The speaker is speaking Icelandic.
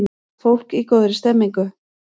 Fólk í góðri stemningu!